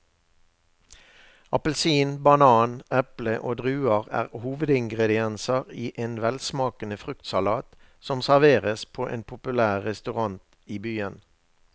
Appelsin, banan, eple og druer er hovedingredienser i en velsmakende fruktsalat som serveres på en populær restaurant i byen.